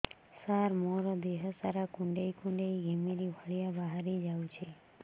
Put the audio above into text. ସାର ମୋର ଦିହ ସାରା କୁଣ୍ଡେଇ କୁଣ୍ଡେଇ ଘିମିରି ଭଳିଆ ବାହାରି ଯାଉଛି